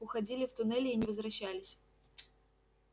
уходили в туннели и не возвращались